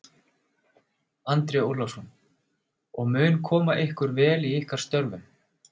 Andri Ólafsson: Og mun koma ykkur vel í ykkar störfum?